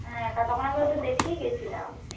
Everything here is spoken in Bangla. হ্যাঁ কারন তখন আমি ওদের দেখেই গেছিলাম